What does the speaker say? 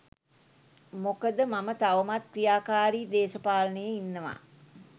මොකද මම තවමත් ක්‍රියාකාරි දේශපාලනයේ ඉන්නවා.